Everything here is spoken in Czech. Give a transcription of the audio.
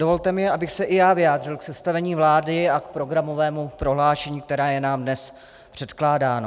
Dovolte mi, abych se i já vyjádřil k sestavení vlády a k programovému prohlášení, které je nám dnes předkládáno.